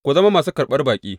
Ku zama masu karɓan baƙi.